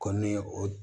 Kɔni ye o